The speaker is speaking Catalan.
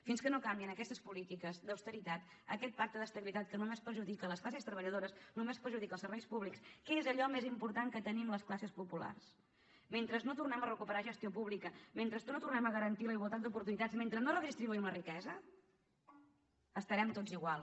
fins que no canviïn aquestes polítiques d’austeritat aquest pacte d’estabilitat que només perjudica les classes treballadores que només perjudica els serveis públics que és allò més important que tenim les classes populars mentre no tornem a recuperar gestió pública mentre no tornem a garantir la igualtat d’oportunitats mentre no redistribuïm la riquesa estarem tots igual